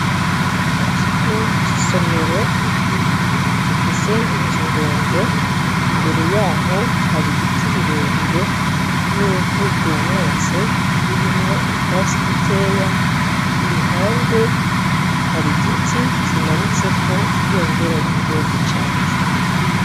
Ikigo cisomero gifise inzu ndende imbere yaho hari ibiti birebire nivu ryumutse ririmwo utwatsi dukeya iruhande harigiti kimanitseko ibendera ryigihugu cacu